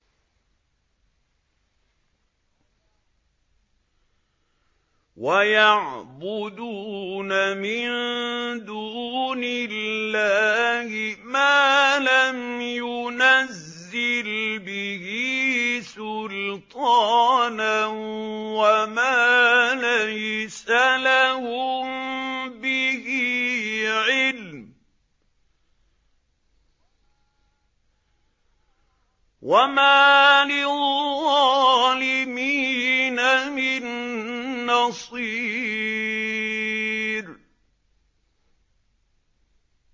وَيَعْبُدُونَ مِن دُونِ اللَّهِ مَا لَمْ يُنَزِّلْ بِهِ سُلْطَانًا وَمَا لَيْسَ لَهُم بِهِ عِلْمٌ ۗ وَمَا لِلظَّالِمِينَ مِن نَّصِيرٍ